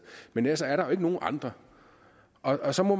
men ellers er der jo ikke nogen andre og så må